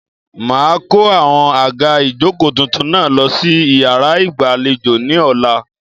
Màá a kó àwọn àga ìjókòó tuntun náà lo sí iyàrá ìgbàlejò ní ọ̀la